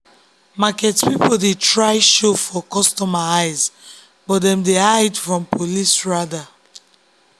market people dey try show for customer eyes but dem dey hide from police rada.